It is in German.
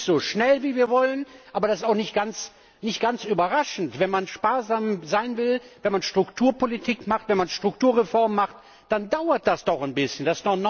Nicht so schnell wie wir wollen, aber das ist auch nicht ganz überraschend, denn wenn man sparsam sein will, wenn man Strukturpolitik macht, wenn man Strukturreformen macht, dann dauert das doch ein bisschen.